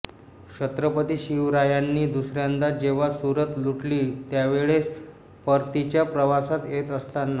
छत्रपती शिवरायांनी दुसऱ्यांदा जेव्हा सुरत लुटली त्यावेळेस परतीच्या प्रवासात येत असताना